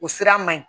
O sira man ɲi